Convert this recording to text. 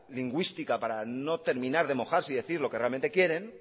lingüística para no terminar de mojarse y decir lo que realmente quieren